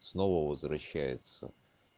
снова возвращается